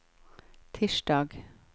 tirsdag